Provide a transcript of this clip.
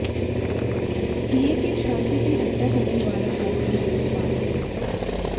CA के छात्र की हत्या करने वाला आरोपी गिरफ्तार